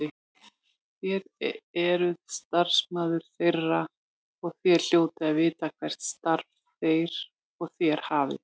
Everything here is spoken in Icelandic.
Þér eruð starfsmaður þeirra og þér hljótið að vita hvert starf þeir og þér hafið.